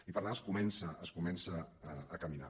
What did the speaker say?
i per tant es comença es comença a caminar